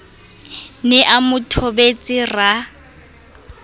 ne a mo thobetse ra